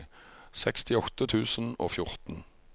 sekstiåtte tusen og fjorten